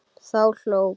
Þá hló